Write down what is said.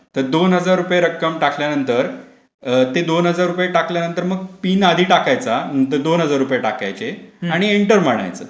दोन हजार रुपये रक्कम टाकल्यानंतर ते दोन हजार रुपये रक्कम टाकल्यानंतर मगपिन आधी टाकायचा. दोन हजार रुपये टाकायचे आणि इंटर मारायचं.